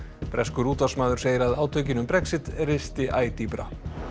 breskur útvarpsmaður segir að átökin um Brexit risti æ dýpra